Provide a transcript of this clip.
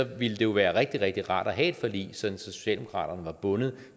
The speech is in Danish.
ville det jo være rigtig rigtig rart at have et forlig sådan at socialdemokraterne var bundet